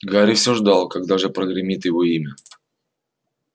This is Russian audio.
гарри всё ждал когда же прогремит его имя